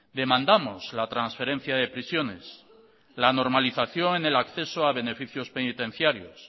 demandamos la transferencia de prisiones la normalización en el acceso a beneficios penitenciarios